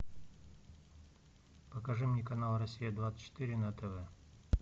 покажи мне канал россия двадцать четыре на тв